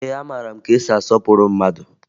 Ee, amara m ka esi asọpụrụ mmadụ